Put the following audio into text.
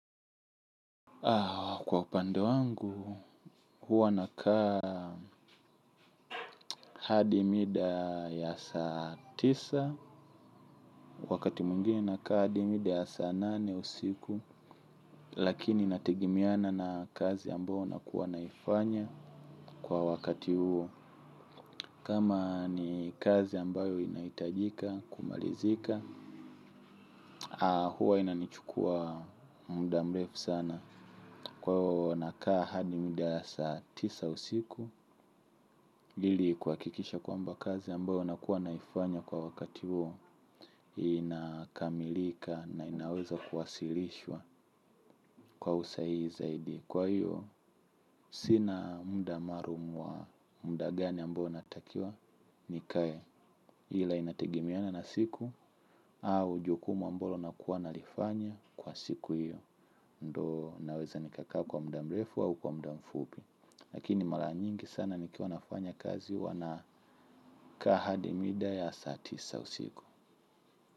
Kwa upande wangu, huwa nakaa hadi mida ya saa tisa. Wakati mwingine nakaa hadi mida ya saa nane usiku. Lakini inategemeana na kazi ambayo nakuwa naifanya kwa wakati huo. Kama ni kazi ambayo inaitajika, kumalizika. Huwa inanichukua muda mrefu sana. Kwa hiyo nakaa hadi mida ya saa tisa usiku ili kuhakikisha kwamba kazi ambayo nakuwa naifanya kwa wakati huo inakamilika na inaweza kuwasilishwa kwa usahihi zaidi. Kwa hiyo sina muda maalum wa muda gani ambao natakiwa nikae ila inategemeana na siku au jukumu ambalo nakuwa nalifanya kwa siku hiyo. Ndo naweza nikakaa kwa muda mrefu au kwa muda mfupi. Lakini mara nyingi sana nikiwa nafanya kazi huwa na kaa hadi mida ya saa tisa usiku.